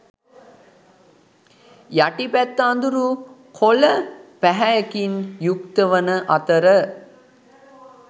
යටි පැත්ත අඳුරු කොළ පැහැයකින් යුක්ත වන අතර